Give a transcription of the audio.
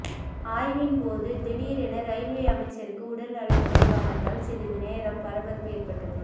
ஆய்வின் போது திடீரென ரயில்வே அமைச்சருக்கு உடல்நலக்குறைவானதால் சிறிது நேரம் பரபரப்பு ஏற்பட்டது